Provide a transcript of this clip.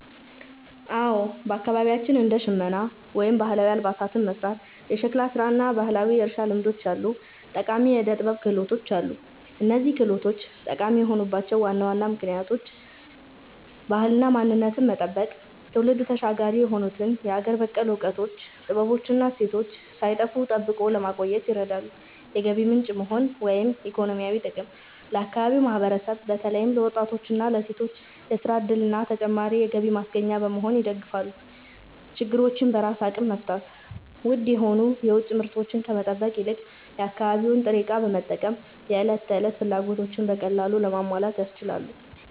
አዎ፣ በአካባቢያችን እንደ ሸመና (ባህላዊ አልባሳትን መሥራት)፣ የሸክላ ሥራ እና ባህላዊ የእርሻ ልምዶች ያሉ ጠቃሚ የዕደ-ጥበብ ክህሎቶች አሉ። እነዚህ ክህሎቶች ጠቃሚ የሆኑባቸው ዋና ዋና ምክንያቶች፦ ባህልንና ማንነትን መጠበቅ፦ ትውልድ ተሻጋሪ የሆኑትን የሀገር በቀል እውቀቶች፣ ጥበቦች እና እሴቶች ሳይጠፉ ጠብቆ ለማቆየት ይረዳሉ። የገቢ ምንጭ መሆን (ኢኮኖሚያዊ ጥቅም)፦ ለአካባቢው ማህበረሰብ በተለይም ለወጣቶችና ለሴቶች የሥራ ዕድልና ተጨማሪ የገቢ ማስገኛ በመሆን ይደግፋሉ። ችግሮችን በራስ አቅም መፍታት፦ ውድ የሆኑ የውጭ ምርቶችን ከመጠበቅ ይልቅ የአካባቢውን ጥሬ ዕቃ በመጠቀም የዕለት ተዕለት ፍላጎቶችን በቀላሉ ለማሟላት ያስችላሉ።